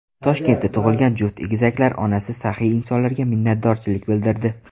Toshkentda tug‘ilgan juft egizaklar onasi saxiy insonlarga minnatdorchilik bildirdi.